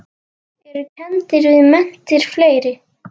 Eru kenndir við menntir fleiri.